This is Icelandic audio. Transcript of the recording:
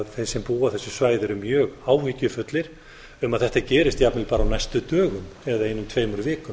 þeir sem búa á þessu svæði eru ég áhyggjufullir um að þetta gerist jafnvel bara á næstu dögum eða einum tveimur vikum